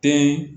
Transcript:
Den